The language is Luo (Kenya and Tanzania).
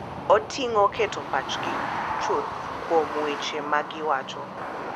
Oting’o keto pachgi chuth kuom weche ma giwacho, .